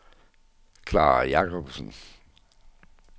Clara Jakobsen